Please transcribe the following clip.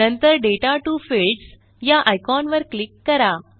नंतर data to fields ह्या icon वर क्लिक करा